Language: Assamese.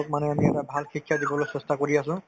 মানে আমি এটা ভাল শিক্ষা দিবলৈ চেষ্টা কৰি আছো